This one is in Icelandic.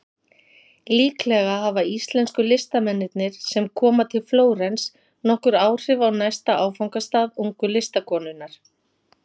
Líklega hafa íslensku listamennirnir sem koma til Flórens nokkur áhrif á næsta áfangastað ungu listakonunnar.